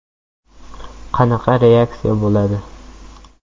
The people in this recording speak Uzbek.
Qanaqa reaksiya bo‘ladi?